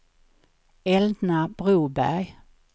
Elna Broberg